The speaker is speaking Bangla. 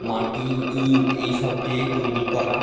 মাটি ইট এইসব দিয়ে তৈরি করা ।